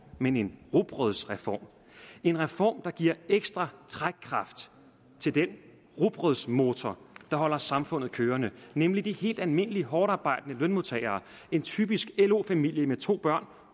men en rugbrødsreform en reform der giver ekstra trækkraft til den rugbrødsmotor der holder samfundet kørende nemlig de helt almindelige hårdtarbejdende lønmodtagere en typisk lo familie med to børn